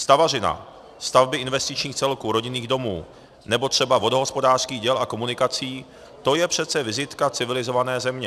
Stavařina, stavby investičních celků, rodinných domů nebo třeba vodohospodářských děl a komunikací, to je přece vizitka civilizované země.